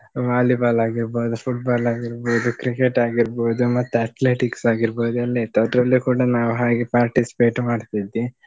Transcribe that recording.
Volleyball ಆಗಿರ್ಬಹುದು Football ಆಗಿರ್ಬಹುದು Cricket ಆಗಿರ್ಬಹುದು ಮತ್ತೆ athletics ಆಗಿರ್ಬಹುದು ಎಲ್ಲ ಇತ್ತು ಅದ್ರಲ್ಲಿ ಕೂಡ ನಾವು ಹಾಗೆ participate ಮಾಡ್ತಿದ್ವಿ.